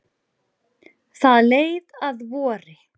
Það leið að vori.